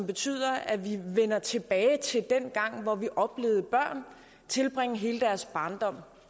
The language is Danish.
betyder at vi vender tilbage til dengang hvor vi oplevede børn tilbringe hele deres barndom